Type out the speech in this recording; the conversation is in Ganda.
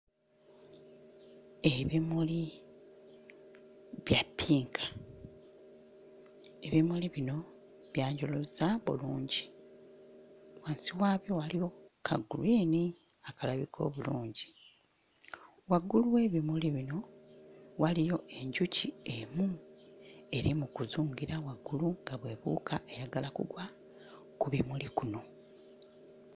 Ebimuli bya ppinka, ebimuli bino byanjuluzza bulungi, wansi wabyo waliyo kagreen akalabika obulungi, waggulu w'ebimuli bino waliyo enjuki emu eri mu kuzungira waggulu nga bw'ebuuka eyagala kugwa ku bimuli bino.